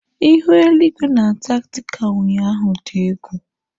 Ihu eligwe na Antaktika ụnyaahụ dị egwu.